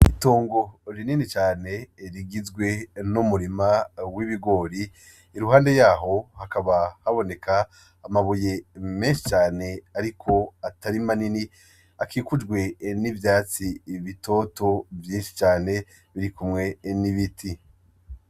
Itongo rinini cane rigizwe n'umurima wibigori iruhande yaho hakaba haboneka amabuye menshi cane ariko atari manini akikujwe nivyatsi bitoto vyinshi cane birikunwe nibiti.